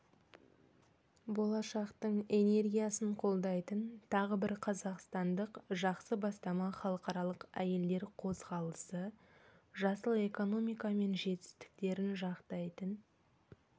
болашақтың энергиясын қолдайтын тағы бір қазақстандық жақсы бастама халықаралық әйелдер қозғалысы жасыл экономика мен жетістіктерін жақтайтын